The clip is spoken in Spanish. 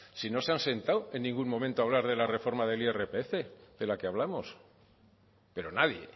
si no se han sentado en ningún momento a hablar de la reforma del irpf de la que hablamos pero nadie